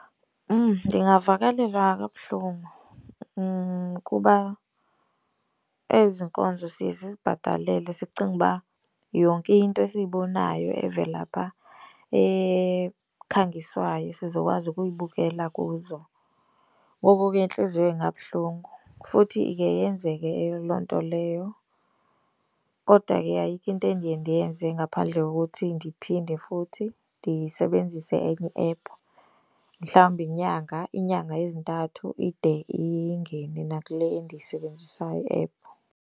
Ndingavakalelwa kabuhlungu kuba ezi nkonzo siye sizibhatalele sicinge uba yonke into esiyibonayo evela phaa ekhangiswayo sizokwazi ukuyibukela kuzo, ngoko ke intliziyo ingabuhlungu. Futhi ike yenzeke loo nto leyo kodwa ke ayikho into endiye ndiyenze ngaphandle kokuthi ndiphinde futhi ndisebenzise enye iephu. Mhlawumbi inyanga, inyanga ezintathu ide ingene nakule endiyisebenzisayo iephu.